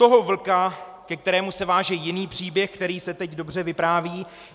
Toho vlka, ke kterému se váže jiný příběh, který se teď dobře vypráví.